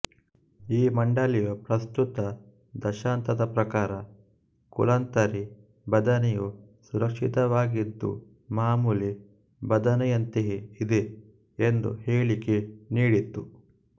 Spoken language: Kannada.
ಈ ಮಂಡಳಿಯು ಪ್ರಸ್ತುತ ದತ್ತಾಂಶದ ಪ್ರಕಾರ ಕುಲಾಂತರಿ ಬದನೆಯು ಸುರಕ್ಷಿತವಾಗಿದ್ದು ಮಾಮೂಲಿ ಬದನೆಯಂತೆಯೆ ಇದೆ ಎಂದು ಹೇಳಿಕೆ ನೀಡಿತ್ತು